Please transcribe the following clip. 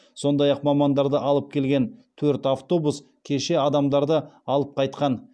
сондай мамандарды алып келген төрт автобус кеше адамдарды алып қайтқан